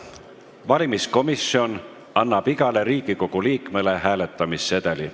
Valimiskomisjon annab igale Riigikogu liikmele hääletamissedeli.